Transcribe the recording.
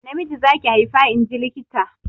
Namiji za ki haifa inji likita.